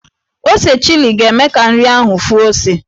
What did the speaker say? Ose chili ga-eme ka nri ahụ fụọ ose.